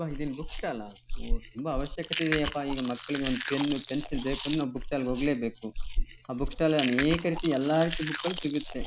ಅಪ ಇದೇನ್ book stall ಅಹ್ ಒಹ್ ತುಂಬಾ ಅವಶ್ಯಕತೆ ಇದ್ಯಪ್ಪಾ ಮಕ್ಲುಗೆ ಒಂದ್ ಪೆನ್ ಪೆನ್ಸಿಲ್ ಬೇಕು .ಅಂದ್ರೆ ನಾವ್ ಬುಕ್ ಸ್ಟಾಲ್ ಗೆ ಹೋಗ್ಲೇ ಬೇಕು. ಆ ಬುಕ್ ಸ್ಟಾಲ್ ಅಲ್ ಅನೇಕ ರೀತಿಯ ಎಲ್ಲಾ ರೀತಿ ಬುಕ್ ಗಳ್ ಸಿಗತ್ತೆ.